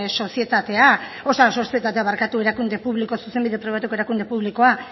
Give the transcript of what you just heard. erakunde publiko zuzenbide pribatuko erakunde publikoa